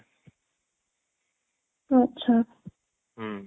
ଆଚ୍ଛା